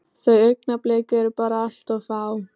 Þau augnablik eru bara allt of fá.